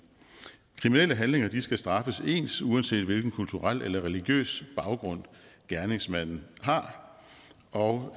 kriminelle handlinger skal straffes ens uanset hvilken kulturel eller religiøs baggrund gerningsmanden har og